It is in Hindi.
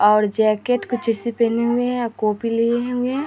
और जैकेट कुछ एसे पहने हुए है कॉपी लिए हुए हैं |